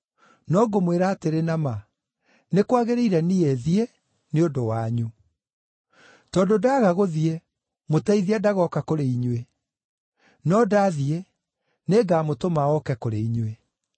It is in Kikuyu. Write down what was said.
No ngũmwĩra atĩrĩ na ma, nĩ kwagĩrĩire niĩ thiĩ nĩ ũndũ wanyu. Tondũ ndaaga gũthiĩ, Mũteithia ndagooka kũrĩ inyuĩ. No ndaathiĩ, nĩngamũtũma oke kũrĩ inyuĩ.